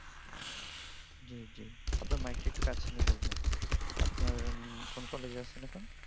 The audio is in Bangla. জি জি। আপনার মাইকটা একটু কাছে নিয়ে বলবেন। আপনার কোন কলেজে আছেন এখন?